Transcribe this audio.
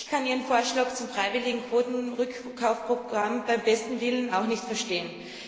Ich kann Ihren Vorschlag zum freiwilligen Quotenrückkaufprogamm beim besten Willen nicht verstehen.